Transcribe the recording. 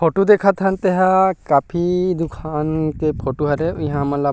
photo देखत हन तेहां काफी दुकान के फोटो हरे इहा हमन ला--